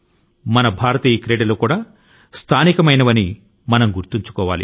మన భారతీయ క్రీడ లు కూడా స్థానికమే అని గుర్తు పెట్టుకోవాలి